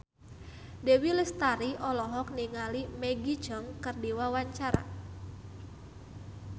Dewi Lestari olohok ningali Maggie Cheung keur diwawancara